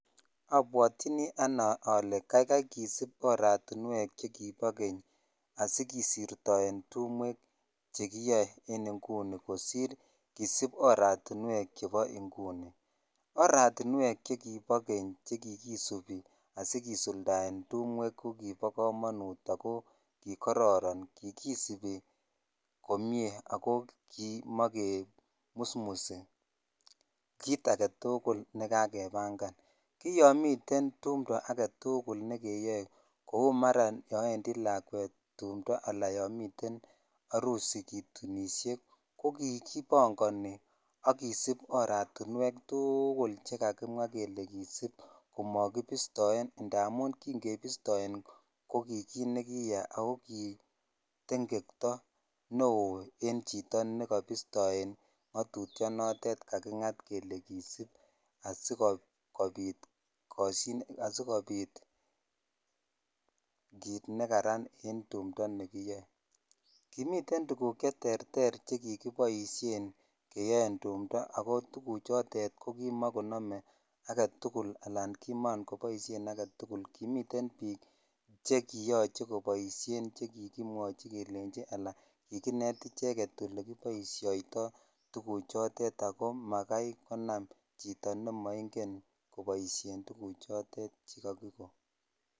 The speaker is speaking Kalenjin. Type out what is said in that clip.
Obwaotin ane ole kaikai kisip oratiwen chekibo keny kisirton tumwek che kiyo en inguni kosir kisip oratiwek chebo inguni oratiwe chekibo keny chekikisip asikisuldaen tumwwek ko kibo komonut ako kororon kikisepi komie ako kimakemusmus kit agetul nekakebangan ki ysn miten tumto agetukul ne keyoe kou mara yon wendi lakwet tumto ala yo miten harusi kitunishe ko kikibongoni ak kisip oratinwek tukul chekakimwa kele kisip ko makibistoe amun kin kebistoen ko ki kit ne kiyaa sko kitengetoo neo en chito nekobistoe ngotutonotet kakingat kelekisip asikopit koshinet kit nekaran en tumto nekiyoe kimi tuguk che terter che kikiboishrn yon kiyoe ako tukuchotet ko kimakomome chito agetukul alan kiman koname agetul kimiten bik che kiyoche koboishen chekimwochi sla kikinet icheget ole kiboishoitoi tuguchotet ako maksi konam chito nemoingen ole kibodhoidoi tuguk choton che kakikon.